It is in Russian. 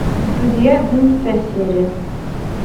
друзья одиннадцатая серия